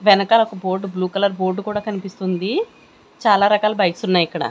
వెనకాల ఒక board blue colour board కూడా కనిపిస్తుంది చాలా రకాల బైక్సున్నాయి ఇక్కడ.